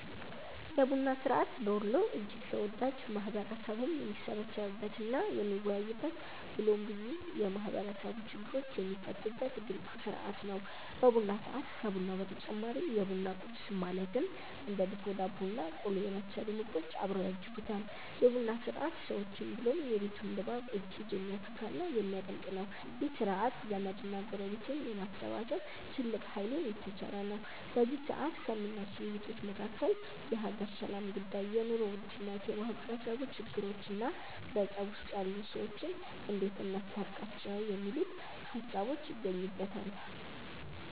የቡና ስርዐት በወሎ እጅግ ተወዳጅ፣ ማህበረሰቡም የሚሰባሰብበት እና የሚወያይበት ብሎም ብዙ የማህበረሰቡ ችግሮች የሚፈቱበት ድንቅ ስርዐት ነው። በቡና ሰዐት ከቡናው በተጨማሪ የቡና ቁረስ ማለትም እንደ ድፎ ዳቦ እና ቆሎ የመሰሉ ምግቦች አብረው ያጅቡታል። የ ቡና ስርዐት ሰዎችን ብሎም የቤቱን ድባብ እጅግ የሚያፈካ እና የሚያደምቅ ነው። ይህ ስርዐት ዘመድ እና ጎረቤትን የማሰባሰብ ትልቅ ሃይልን የተቸረ ነው። በዚ ሰዐት ከሚነሱ ውይይቶች መካከል የሃገር ሰላም ጉዳይ፣ የ ኑሮ ውድነት፣ የማህበረሰቡ ችግሮቾ እና በፀብ ውስጥ ያሉ ሰዎችን እንዴት እናስታርቃቸው የሚሉት ሃሳቦች ይገኙበተል።